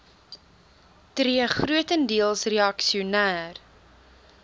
tree grotendeels reaksioner